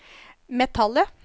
metallet